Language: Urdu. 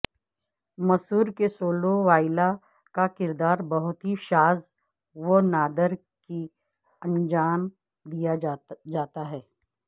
مصور کے سولو وائلا کا کردار بہت ہی شاذ و نادر ہی انجام دیتا ہے